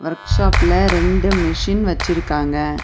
Work ஷாப்ல ரெண்டு machine வெச்சிருக்காங்க.